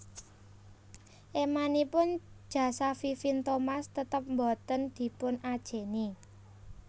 Émanipun jasa Vivien Thomas tetep boten dipun ajèni